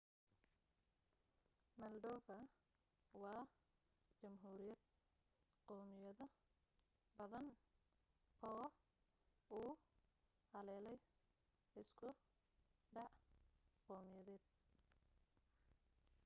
moldova waa jamhuuriyad qawmiyado badan oo uu haleelay isku dhac qawmiyadeed